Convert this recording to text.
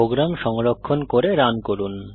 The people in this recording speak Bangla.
প্রোগ্রাম সংরক্ষণ করে রান করুন